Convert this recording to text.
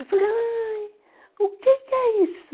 Eu falei, aí, o que que é isso?